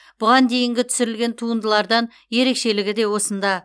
бұған дейінгі түсірілген туындылардан ерекшелігі де осында